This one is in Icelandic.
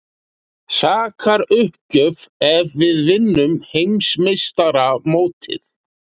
Sakaruppgjöf ef við vinnum Heimsmeistaramótið?